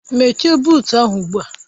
Mechie buut ahụ ugbu a!